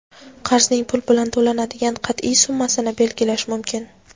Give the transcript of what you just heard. qarzning pul bilan to‘lanadigan qatʼiy summasini belgilashi mumkin.